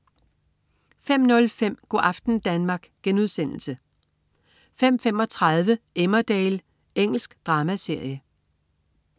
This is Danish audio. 05.05 Go' aften Danmark* 05.35 Emmerdale. Engelsk dramaserie